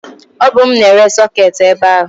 o bu mu na-ere soketi ebe a